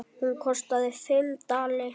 Hún kostaði fimm dali.